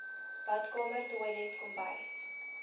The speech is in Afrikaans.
badkamer toilet kombuis